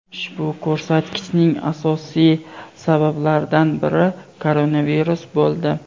Ushbu ko‘rsatkichning asosiy sabablaridan biri koronavirus bo‘ldi.